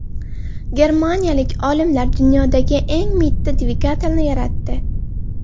Germaniyalik olimlar dunyodagi eng mitti dvigatelni yaratdi.